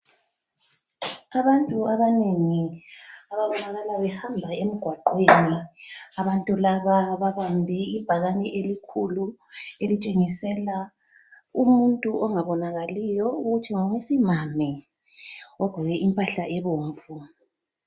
Abantu abanengi abahlabelayo bahamba emgwaqweni. Abantu laba babambe ibhakane elikhulu elitshengisela umuntu ongabonakaliyo ukuthi ngowesimame ogqoke impahla ebomvu.